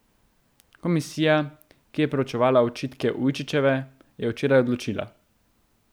Komisija, ki je proučevala očitke Ujčičeve, je včeraj odločila.